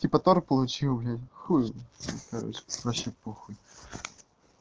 типа тор получил блин хуй короче вообще похуй